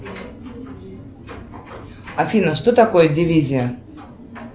афина что такое дивизия